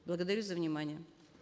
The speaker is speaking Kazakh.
благодарю за внимание